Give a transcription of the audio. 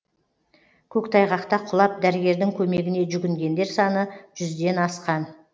көктайғақта құлап дәрігердің көмегіне жүгінгендер саны жүзден асқан